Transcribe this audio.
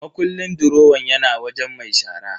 Makullin durowan yana wajen mai shara.